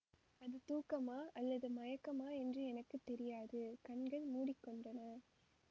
அது தூக்கமா அல்லது மயக்கமா என்று எனக்கு தெரியாது கண்கள் மூடி கொண்டன